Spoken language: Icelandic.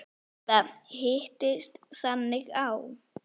Þetta hittist þannig á.